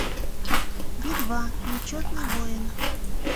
би два нечетный воин